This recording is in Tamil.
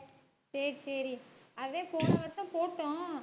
சரி சரி அதே போன வருஷம் போட்டோம்